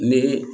Ne